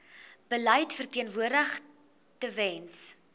beleid verteenwoordig tewens